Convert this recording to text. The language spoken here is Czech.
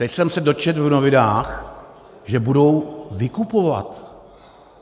Teď jsem se dočetl v novinách, že budou vykupovat.